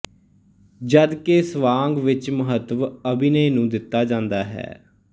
ਜਦ ਕਿ ਸਵਾਂਗ ਵਿੱਚ ਮਹੱਤਵ ਅਭਿਨੈ ਨੂੰ ਦਿੱਤਾ ਜਾਂਦਾ ਹੈ